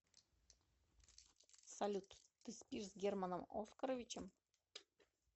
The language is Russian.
салют ты спишь с германом оскаровичем